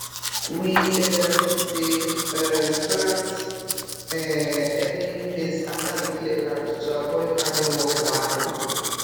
we um dey um plant um early maize after we clear land to avoid armyworm wahala